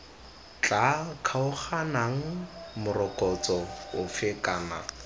tla kgaoganang morokotso ofe kana